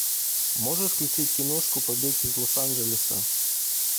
можешь включить киношку побег из лос анджелеса